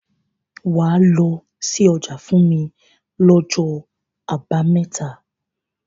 Wàá lọ sí ọjà fún mi lọ́jọ́ àbámẹ́ta.